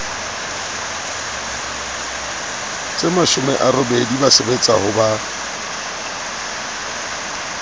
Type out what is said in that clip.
tsemashome a robedi ba sebetsahoba